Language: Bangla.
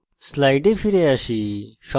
slides ফিরে যাই